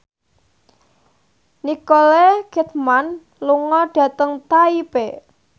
Nicole Kidman lunga dhateng Taipei